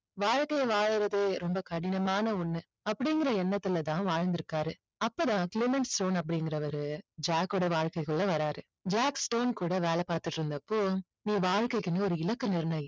வாழ்க்கைய வாழறது ரொம்ப கடினமான ஒண்ணு அப்படிங்கற எண்ணத்துல தான் வாழ்ந்திருக்காரு அப்பதான் க்ளைமன் ஸ்டோன் அப்படிங்கறவரு ஜாக்கோட வாழ்க்கைக்குள்ள வர்றாரு ஜாக் ஸ்டோன் கூட வேலை பார்த்துட்டு இருந்தப்போ நீ வாழ்க்கைக்குன்னு ஒரு இலக்கை நிர்ணயி